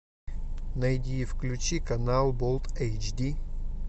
найди и включи канал болт эйч ди